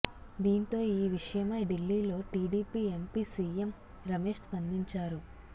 దీంతో ఈ విషయమై ఢిల్లీలో టిడిపి ఎంపి సిఎం రమేష్ స్పందించారు